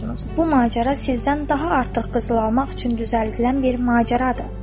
Bu macəra sizdən daha artıq qızıl almaq üçün düzəldilən bir macəradır.